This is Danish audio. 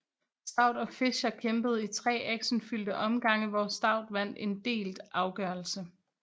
Stout og Fisher kæmpede i tre actionfyldte omgange hvor Stout vandt en delt afgørelse